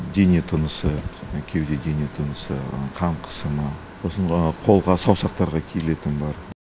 дене тынысы кеуде дене тынысы қан қысымы сосын қолға саусақтарға киілетіні бар